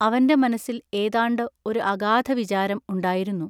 അവന്റെ മനസ്സിൽ ഏതാണ്ട്‌ ഒരു അഗാധ വിചാരം ഉണ്ടായിരുന്നു.